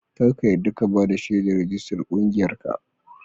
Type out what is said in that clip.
Kar ka yadda ka ba da shaidar rijistas ƙungiyarka.